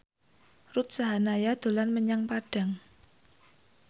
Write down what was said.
Ruth Sahanaya dolan menyang Padang